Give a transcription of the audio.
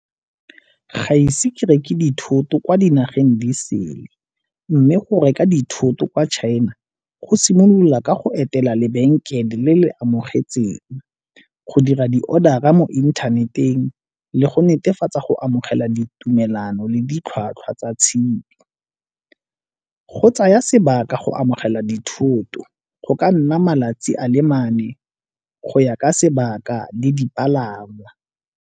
Ga ise ke reke dithoto kwa dinageng di sele mme go reka dithoto kwa china go simolola ka go etela lebenkele le le amogetsweng, go dira di-order-ra mo inthaneteng, le go netefatsa go amogela ditumelano le ditlhwatlhwa tsa . Go tsaya sebaka go amogela dithoto, go ka nna malatsi a le mane go ya ka sebaka le dipalama.